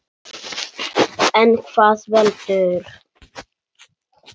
En hvað veldur?